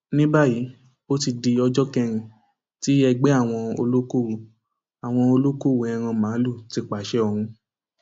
ní báyìí ó ti di ọjọ kẹrin tí ẹgbẹ àwọn olókoòwò àwọn olókoòwò ẹran màálùú ti pàṣẹ ọhún